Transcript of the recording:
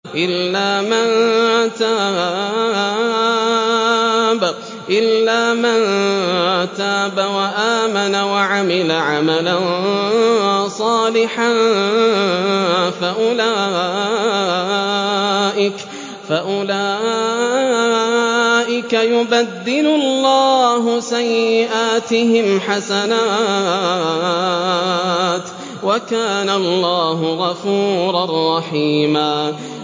إِلَّا مَن تَابَ وَآمَنَ وَعَمِلَ عَمَلًا صَالِحًا فَأُولَٰئِكَ يُبَدِّلُ اللَّهُ سَيِّئَاتِهِمْ حَسَنَاتٍ ۗ وَكَانَ اللَّهُ غَفُورًا رَّحِيمًا